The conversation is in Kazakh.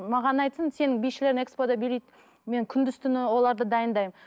маған айтсын сенің бишілерің экспо да билейді мен күндіз түні оларды дайындаймын